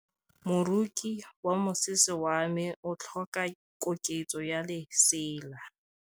Moroki wa mosese wa me o tlhoka koketsô ya lesela.